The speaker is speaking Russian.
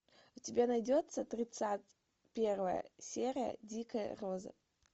у тебя найдется тридцать первая серия дикая роза